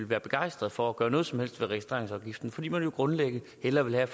være begejstret for at gøre noget som helst ved registreringsafgiften fordi man jo grundlæggende hellere vil have